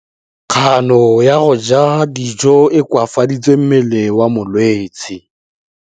Kganô ya go ja dijo e koafaditse mmele wa molwetse.